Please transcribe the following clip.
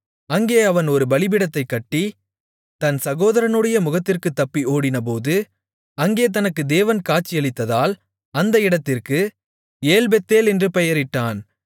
அங்கே அவன் ஒரு பலிபீடத்தைக்கட்டி தன் சகோதரனுடைய முகத்திற்குத் தப்பி ஓடிப்போனபோது அங்கே தனக்கு தேவன் காட்சியளித்ததால் அந்த இடத்திற்கு ஏல்பெத்தேல் என்று பெயரிட்டான்